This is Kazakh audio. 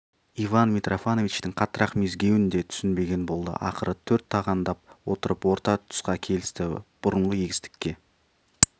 иван митрофановичтің қаттырақ мезгеуін де түсінбеген болды ақыры төрт тағандап отырып орта тұсқа келісті бұрынғы егістікке